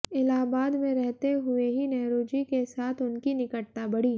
इलाहाबाद में रहते हुए ही नेहरूजी के साथ उनकी निकटता बढ़ी